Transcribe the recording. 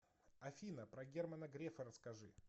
афина про германа грефа расскажи